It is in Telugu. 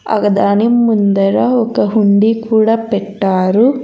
అగా దాని ముందర ఒక హుండి కూడా పెట్టారు.